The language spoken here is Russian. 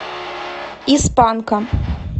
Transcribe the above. из панка